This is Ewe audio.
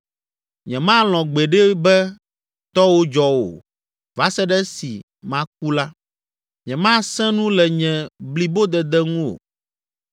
Nyemalɔ̃ gbeɖe be tɔwò dzɔ o va se ɖe esi maku la, nyemasẽ nu le nye blibodede ŋu o.